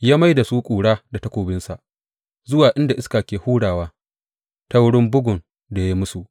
Ya mai da su ƙura da takobinsa, zuwa inda iska ke hurawa ta wurin bugun da ya yi musu.